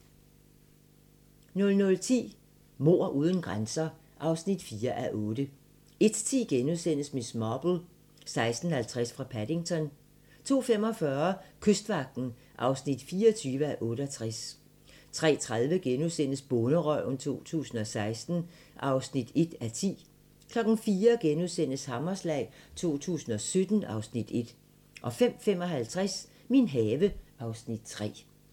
00:10: Mord uden grænser (4:8) 01:10: Miss Marple: 16:50 fra Paddington * 02:45: Kystvagten (24:68) 03:30: Bonderøven 2016 (1:10)* 04:00: Hammerslag 2017 (Afs. 1)* 05:55: Min have (Afs. 3)